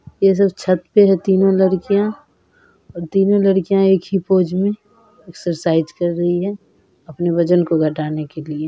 ये सब छत पे तीनो लड़कियां तीनो लड़कियां एक ही पोज में एक्सरसाइज कर रही है अपने वजन को घटाने के लिए।